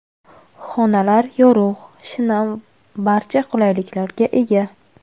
Xonalar yorug‘, shinam, barcha qulayliklarga ega.